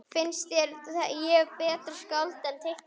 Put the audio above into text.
Finnst þér ég betra skáld en teiknari?